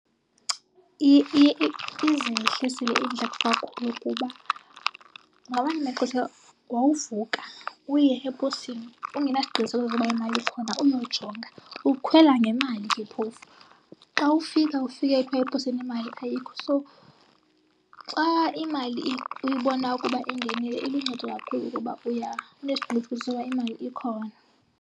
Izehlisile iindleko kakhulu kuba ngamanye amaxesha wawuvuka uye eposini ungenasiqinisekiso soba imali khona uyojonga, ukhwela ngemali ke phofu. Xa ufika ufike kuthwa eposini imali ayikho. So xa imali uyibona ukuba ingenile iluncedo kakhulu kuba uya unesiqinisekiso soba imali ikhona.